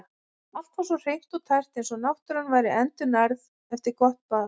Allt var svo hreint og tært eins og náttúran væri endurnærð eftir gott bað.